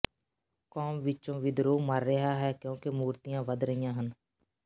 ਕੌਮ ਵਿਚੋਂ ਵਿਦਰੋਹ ਮਰ ਰਿਹਾ ਹੈ ਕਿਉਂਕਿ ਮੂਰਤੀਆਂ ਵਧ ਰਹੀਆਂ ਹਨ